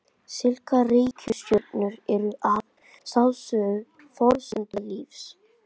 Slíkar reikistjörnur eru að sjálfsögðu forsenda lífs.